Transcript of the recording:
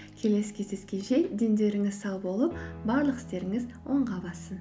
келесі кездескенше дендеріңіз сау болып барлық істеріңіз оңға бассын